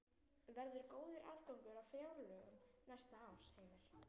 Verður góður afgangur á fjárlögum næsta árs, Heimir?